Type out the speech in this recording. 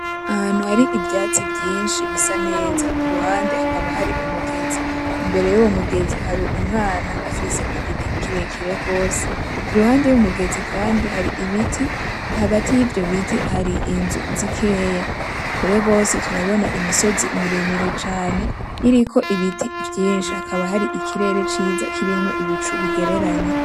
Ahantu hari ivyatsi vyinshi bisa neza, ku ruhande hakaba hari umugezi. Imbere y’uwo mugezi hari umwana afise igiti kirekire gose. Iruhande y'umugezi kandi hari ibiti, hagati y'ivyo biti hari inzu zikeya. Kure gose turabona imisozi miremire cane iriko ibiti vyinshi, hakaba hari ikirere ciza kirimo ibicu bigereranye.